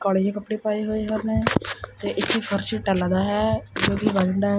ਕਾਲੇ ਜਿਹੇ ਕੱਪੜੇ ਪਾਏ ਹੋਏ ਹਾਂ ਉਹਨੇ ਤੇ ਇੱਕ ਫਰਸ਼ ਟੈਲਾਂ ਦਾ ਹੈ ਜੋ ਕਿ ਬਰਾਊਨ ਐਂਡ --